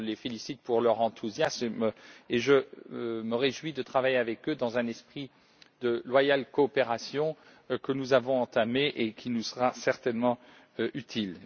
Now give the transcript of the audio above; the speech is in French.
Je les félicite pour leur enthousiasme et je me réjouis de travailler avec eux dans un esprit de loyale coopération que nous avons entamé et qui nous sera certainement utile.